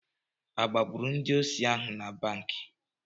Agbagburu ndị osi ahụ na banki?